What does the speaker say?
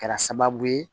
Kɛra sababu ye